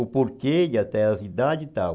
O porquê e até as idades e tal.